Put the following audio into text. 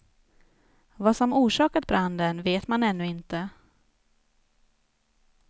Vad som orsakat branden vet man ännu inte.